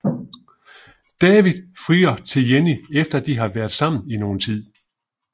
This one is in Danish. David frier til Jenny efter de har været sammen i noget tid